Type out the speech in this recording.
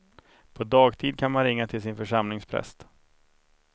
På dagtid kan man ringa till sin församlingspräst.